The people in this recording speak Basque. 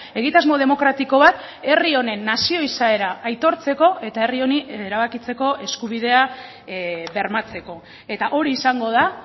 egitasmo demokratiko bat herri honen nazio izaera aitortzeko eta herri honi erabakitzeko eskubidea bermatzeko eta hori izango da